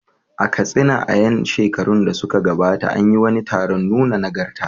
A Katsina, a ƴan shekarun da suka gabata, an yi wani taron nuna nagarta.